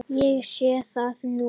Ég sé það núna.